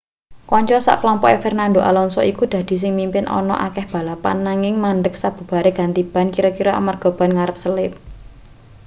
kanca sak klompoke fernando alonso iku dadi sing mimpin ana akeh balapan nanging mandheg sabubare ganti ban kira-kira amarga ban ngarep selip